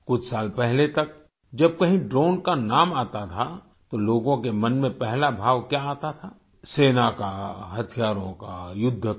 कुछ साल पहले तक जब कहीं ड्रोन का नाम आता था तो लोगों के मन में पहला भाव क्या आता था सेना का हथियारों का युद्ध का